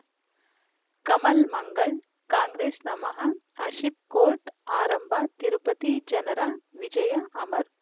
ಕಮಲ್ ಮಂಗಳ್ ಕಾಂಗ್ರೆಸ್ ನಮಃ ಆಶೀಪ್ ಕೋರ್ಟ್ ಆರಂಭ ತಿರುಪತಿ ಜನರ ವಿಜಯ ಅಮರ್